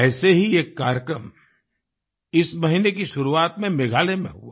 ऐसा ही एक कार्यक्रम इस महीने की शुरुआत में मेघालय में हुआ